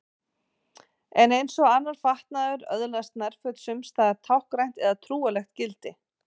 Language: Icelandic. En eins og annar fatnaður öðlast nærföt sums staðar táknrænt eða trúarlegt gildi.